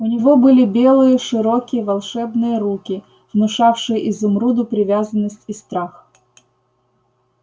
у него были белые широкие волшебные руки внушавшие изумруду привязанность и страх